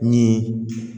Min ye